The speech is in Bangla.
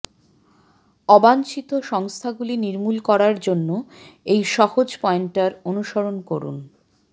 অবাঞ্ছিত সংস্থাগুলি নির্মূল করার জন্য এই সহজ পয়েন্টার অনুসরণ করুন